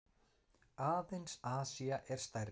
Aðeins Asía er stærri.